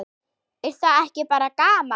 Er það ekki bara gaman?